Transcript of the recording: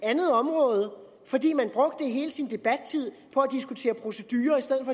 andet område fordi man brugte hele sin debattid på at diskutere procedurer i stedet